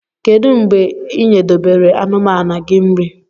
Kedu mgbe inyedobere anumanu gi nri?